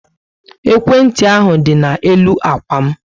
Ekwentị ahu dị na-elu ákwà m